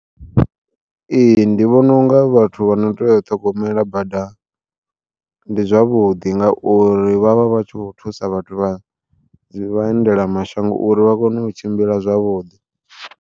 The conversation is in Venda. Ee ndi vhona unga vhathu vhano teya u ṱhogomela bada, ndi zwavhuḓi ngauri vhavha vhatshi kho thusa vhathu vha vhaendela mashango uri vha kone u tshimbila zwavhuḓi.